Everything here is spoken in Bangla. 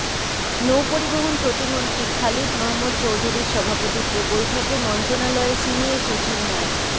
নৌপরিবহন প্রতিমন্ত্রী খালিদ মাহমুদ চৌধুরীর সভাপতিত্বে বৈঠকে মন্ত্রণালয়ের সিনিয়র সচিব মো